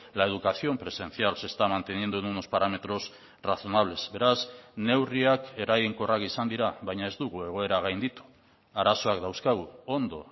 la educación presencial se está manteniendo en unos parámetros razonables beraz neurriak eraginkorrak izan dira baina ez dugu egoera gainditu arazoak dauzkagu ondo